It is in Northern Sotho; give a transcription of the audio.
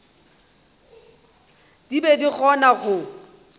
di be di kgona go